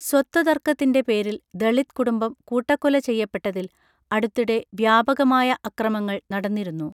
സ്വത്തു തർക്കത്തിൻറെ പേരിൽ ദളിത് കുടുംബം കൂട്ടക്കൊല ചെയ്യപ്പെട്ടതിൽ അടുത്തിടെ വ്യാപകമായ അക്രമങ്ങൾ നടന്നിരുന്നു